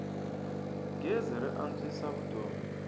gezi ri antswisa vutomi